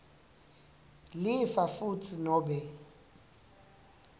lifa futsi nobe